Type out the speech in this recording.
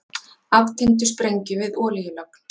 Aftengdu sprengju við olíulögn